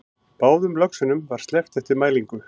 Báðum löxunum var sleppt eftir mælingu